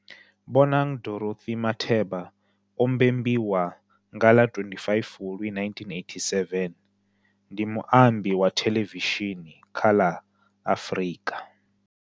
Bonang Dorothy Matheba o mbembiwa nga ḽa 25 Fulwi 1987, ndi muambi wa thelevishini kha la Afrika.